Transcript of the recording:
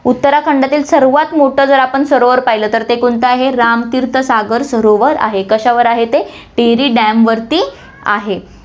उत्तराखंडतील सर्वात मोठं जर आपण सरोवर पाहिलं तर ते कोणतं आहे, राम तीर्थ सागर सरोवर आहे, कशावर आहे ते, टिहरी dam वरती आहे.